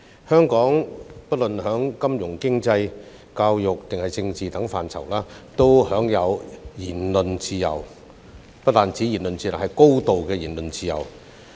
香港不論在金融、經濟、教育或政治等範疇都享有言論自由，而且不但是言論自由，更是高度的言論自由。